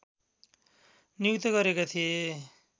नियुक्त गरेका थिए